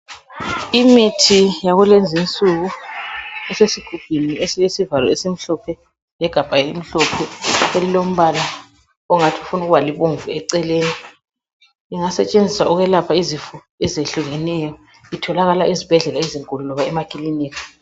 Imithi yakulezinsuku esesigubhini esilesivalo esimhlophe legabha elimhlophe elilombala ongathi ufuna ukuba libomvu eceleni ingasetshenziswa ukuyelapha izifo ezehlukeneyo. Itholakala ezibhedlela ezinkulu lasemakilinika.